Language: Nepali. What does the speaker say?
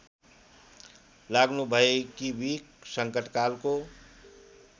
लाग्नुभएकी बिक संकटकालको